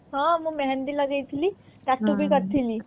ହଁ ମୁଁ ମେହେନ୍ଦି ବି ଲଗେଇ ଥିଲି ଟାଟୁ ବି କରିଥିଲି